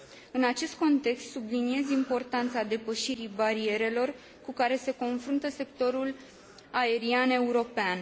În acest context, subliniez importanța depășirii barierelor cu care se confruntă sectorul aerian european.